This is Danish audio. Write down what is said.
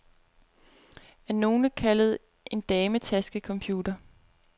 Af nogle kaldet en dametaskecomputer.